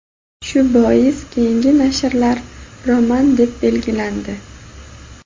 Shu bois keyingi nashrlar "roman" deb belgilandi.